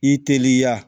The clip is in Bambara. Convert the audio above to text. I teliya